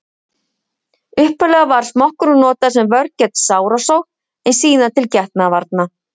Upphaflega var smokkurinn notaður sem vörn gegn sárasótt en síðar til getnaðarvarna.